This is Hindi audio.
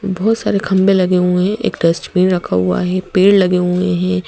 बहुत सारे खंबे लगे हुए हैं एक डस्टबीन रखा हुआ है पेड़ लगे हुए है।